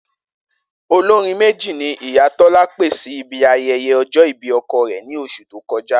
Olórin méjì ni ìyá Tó̩lá pè sí ibi aye̩ye̩ o̩jó̩ ìbí o̩ko̩ rè̩ ní os̩ù tó ko̩já